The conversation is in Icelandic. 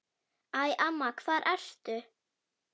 Æ, amma, hvar ertu?